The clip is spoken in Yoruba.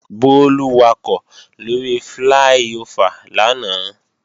Bólú wakọ̀ lóri fláí-ofà lánàá